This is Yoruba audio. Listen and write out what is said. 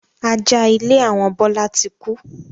Ajá ilé àwọn Bọlá tí kú